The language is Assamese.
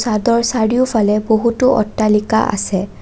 চাদৰ চাৰিওফালে বহুতো অট্টালিকা আছে।